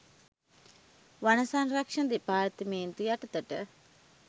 වන සංරක්ෂණ දෙපාර්තමේන්තුව යටතට